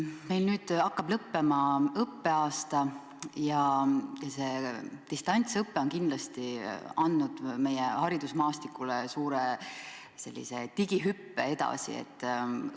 Meil hakkab õppeaasta lõppema ja distantsõpe on kindlasti andnud võimaluse meie haridusmaastikul suure digihüppe teha.